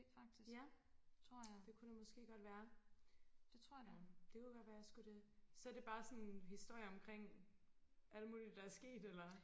ja det kunne det måske godt være det kunne godt være jeg skulle det så er det bare sådan historier omkring alle mulige der er sket eller hvad?